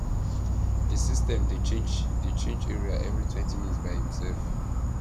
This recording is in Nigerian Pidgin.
the system dey change dey change area everytwentyminutes by imself